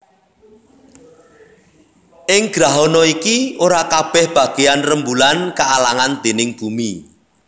Ing grahana iki ora kabèh bagéyan rembulan kaalangan déning bumi